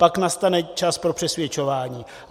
Pak nastane čas pro přesvědčování.